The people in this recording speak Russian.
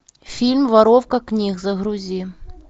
фильм воровка книг загрузи